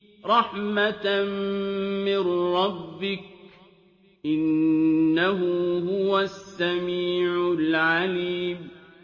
رَحْمَةً مِّن رَّبِّكَ ۚ إِنَّهُ هُوَ السَّمِيعُ الْعَلِيمُ